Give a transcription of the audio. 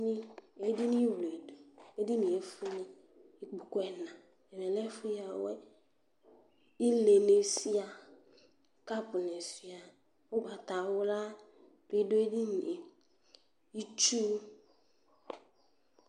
Edini wledu, edinìe efuele ikpoku ɛna, ɛdi lɛ ɛfu yawɛ̃, ilé ni suà, kapu ni suà, ugbatawla bi dù edinìe, itsu